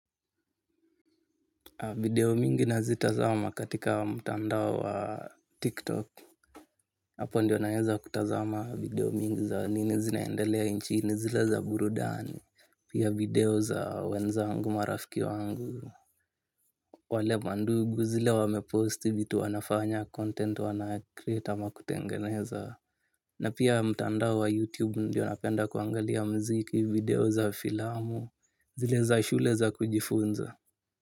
Video mingi nazitazama katika mtandao wa tiktok. Hapo ndio naeza kutazama video mingi za nini zinaendelea nchini zile za burudani. Pia video za wenzangu marafiki wangu. Wale mandugu zile wameposti vitu wanafanya content wanacreate ama kutengeneza. Na pia mtandao wa youtube ndio napenda kuangalia mziki video za filamu. Zile za shule za kujifunza.